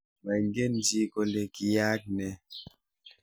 Maingechi kole kiyaak ne